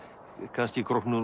kannski